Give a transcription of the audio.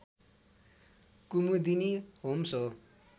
Kumudini Homes हो